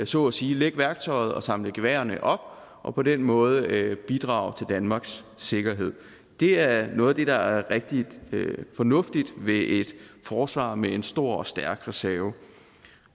så at sige lægge værktøjet og samle geværerne op og på den måde bidrage til danmarks sikkerhed det er noget af det der er rigtig fornuftigt ved et forsvar med en stor og stærk reserve